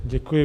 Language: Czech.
Děkuji.